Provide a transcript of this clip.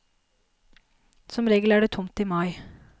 Som regel er det tomt i mai.